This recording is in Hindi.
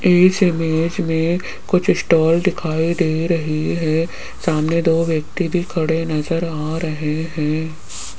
इस इमेज में कुछ स्टॉल दिखाई दे रही है सामने दो व्यक्ति भी खड़े नजर आ रहे हैं।